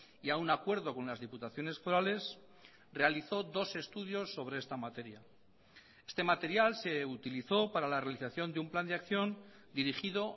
y a un acuerdo con las diputaciones forales realizó dos estudios sobre esta materia este material se utilizó para la realización de un plan de acción dirigido